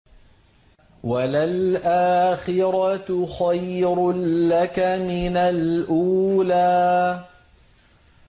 وَلَلْآخِرَةُ خَيْرٌ لَّكَ مِنَ الْأُولَىٰ